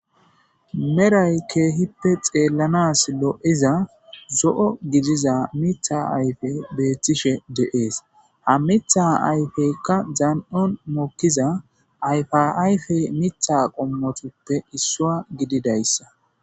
meray keehippe xeellanas lo'iza zo'o gidiza mitha ayfe beettishe de'ees ha mitha ayfeykka aan'on mokkiza ayfaayfe mitha qommotuppe issuwa gididayssa